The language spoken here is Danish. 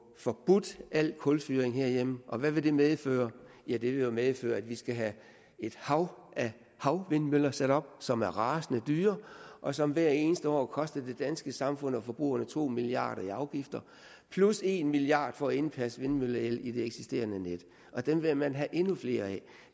forbudt al kulfyring herhjemme og hvad vil det medføre ja det vil jo medføre at vi skal have et hav af havvindmøller sat op som er rasende dyre og som hvert eneste år koster det danske samfund og forbrugerne to milliard kroner i afgifter plus en milliard kroner for at indpasse vindmølleel i det eksisterende net og dem vil man have endnu flere af